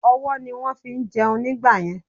Ọwọ́ ni wón fí ń jẹun nígbàyẹn